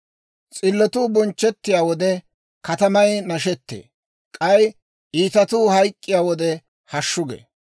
S'illotuu bonchchettiyaa wode, katamay nashettee; k'ay iitatuu hayk'k'iyaa wode, hashshu gee.